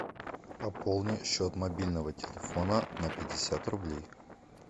пополни счет мобильного телефона на пятьдесят рублей